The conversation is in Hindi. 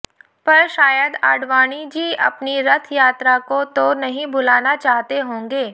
पर शायद आडवाणीजी अपनी रथ यात्रा को तो नहीं भुलाना चाहते होंगे